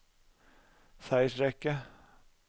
seiersrekke